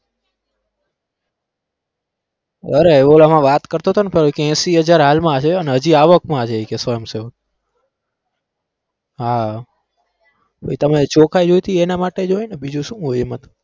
અરે ઓલામાં વાત કરતો તો કઈક એશી હજાર હાલમાં છે અને હજી આવકમાં છે કે ઈ સ્વયંસેવક હા પછી તમે ચોખ્ખાઈ જોઈ હતી એના માટે જ હોય ને બીજું શું હોય એમાં.